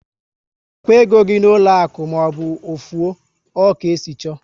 Chekwaa égo gị n'ụlọ akụ maọbụ ofu o! Ọ ka esi chọọ